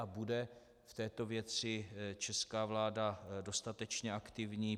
A bude v této věci česká vláda dostatečně aktivní?